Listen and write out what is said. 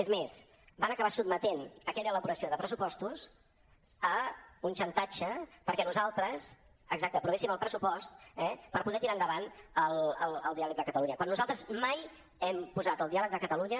és més van acabar sotmetent aquella elaboració de pressupostos a un xantatge perquè nosaltres exacte aprovéssim el pressupost eh per poder tirar endavant el diàleg de catalunya quan nosaltres mai hem posat el diàleg de catalunya